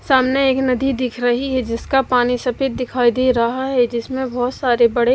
सामने एक नदी दिख रही है जिसका पानी सफेद दिखाई दे रहा है जिसमें बहोत सारे बड़े--